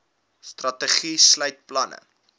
strategie sluit planne